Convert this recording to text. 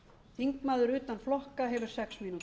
þingmaður utan flokka hefur sex